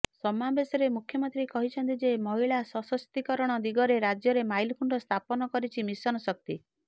ସମାବେଶରେ ମୁଖ୍ୟମନ୍ତ୍ରୀ କହିଛନ୍ତି ଯେ ମହିଳା ସଶକ୍ତିକରଣ ଦିଗରେ ରାଜ୍ୟରେ ମାଇଲଖୁଣ୍ଟ ସ୍ଥାପନ କରିଛି ମିଶନ ଶକ୍ତି